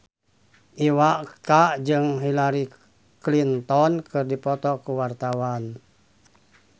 Iwa K jeung Hillary Clinton keur dipoto ku wartawan